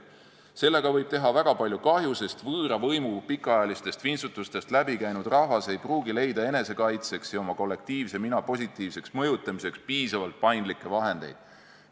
Sellega võib teha väga palju kahju, sest võõra võimu pikaajalistest vintsutustest läbi käinud rahvas ei pruugi leida enesekaitseks ja oma kollektiivse mina positiivseks mõjutamiseks piisavalt paindlikke vahendeid.